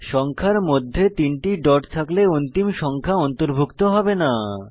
সংখ্যার মধ্যে 3 টি ডট থাকলে অন্তিম সংখ্যা অন্তর্ভুক্ত হবে না